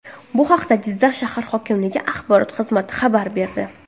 Bu haqda Jizzax shahar hokimligi axborot xizmati xabar berdi .